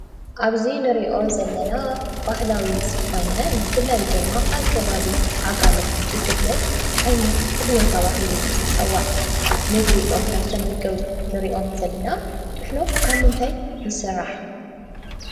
ኣብዚ ንሪኦ ዘለና ባህላዊ ዝኾነ ብፍላይ ድማ ኣብ ከባቢ ዓጋመ ዝፍለጥ ዓይነት ጥሕሎ ተባሂሉ ዝፅዋዕ ምግቢ እዮም እናተመገቡ ንሪኦም ዘለና፡፡ ጥሕሎ ካብ ምንታይ ይስራሕ?